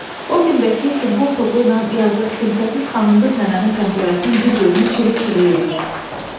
O gündə ki, futbol topuyla yazıq kimsəsiz xanım-qız nənənin pəncərəsinin bir gözünü çilik-çilik eləyib.